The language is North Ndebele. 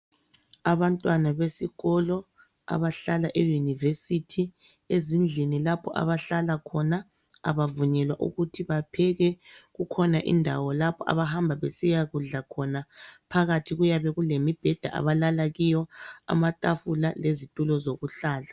Abantwana besikolo abahlala eyunivesithi ezindlini lapho abahlala khona abavunyelwa ukuthi bapheke, kukhona indawo lapho abahamba besiya kudla khona, phakathi kuyabe kulemibheda abahlala kuyo, amatafula lezitulo zokuhlala.